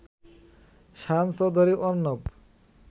Shayan Chowdhury Arnab